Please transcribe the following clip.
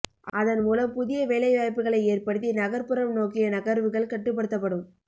அதன் மூலம் புதிய வேலைவாய்ப்புகளை ஏற்படுத்தி நகர்ப்புறம் நோக்கிய நகர்வுகள் கட்டுப்படுத்தப்படும்